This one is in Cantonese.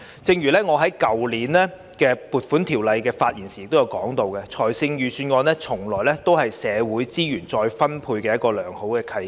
正如我去年就撥款條例草案發言時提到，預算案是社會資源再分配的良好契機。